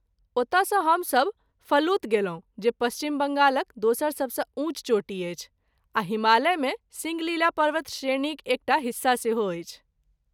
ओतऽसँ हमसभ फलूत गेलहुँ जे पश्चिम बङ्गालक दोसर सबसँ ऊँच चोटी अछि आ हिमालयमे सिङ्गलीला पर्वतश्रेणीक एकटा हिस्सा सेहो अछि।